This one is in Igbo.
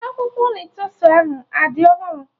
Akwụkwọ lettusu ahụ adị ọhụrụ?